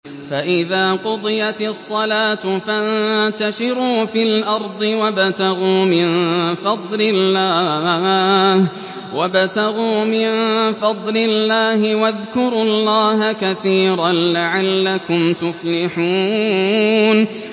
فَإِذَا قُضِيَتِ الصَّلَاةُ فَانتَشِرُوا فِي الْأَرْضِ وَابْتَغُوا مِن فَضْلِ اللَّهِ وَاذْكُرُوا اللَّهَ كَثِيرًا لَّعَلَّكُمْ تُفْلِحُونَ